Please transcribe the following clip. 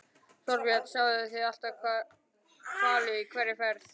Þorbjörn: Sjáið þið alltaf hvali í hverri ferð?